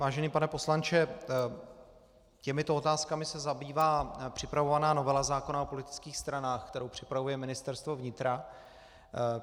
Vážený pane poslanče, těmito otázkami se zabývá připravovaná novela zákona o politických stranách, kterou připravuje Ministerstvo vnitra.